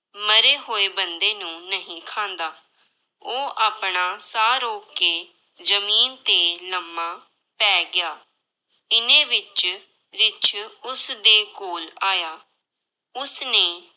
ਮਰੇ ਹੋਏ ਬੰਦੇ ਨੂੰ ਨਹੀਂ ਖਾਂਦਾ, ਉਹ ਆਪਣਾ ਸਾਹ ਰੋਕ ਕੇ ਜ਼ਮੀਨ ਤੇ ਲੰਮਾ ਪੈ ਗਿਆ, ਇੰਨੇ ਵਿੱਚ ਰਿੱਛ ਉਸਦੇ ਕੋਲ ਆਇਆ, ਉਸਨੇ